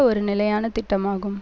ஒரு நிலையான திட்டமாகும்